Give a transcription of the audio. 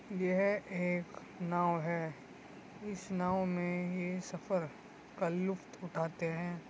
यह एक नाव है। इस नाव में ये सफर का लुफ्त उठाते हैं।